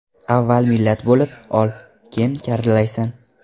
Avval millat bo‘lib ol, keyin karillaysan.